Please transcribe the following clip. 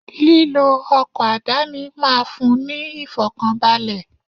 Lílọ ọkọ̀ àdáni máa fún ní ìfọ̀kànbalè.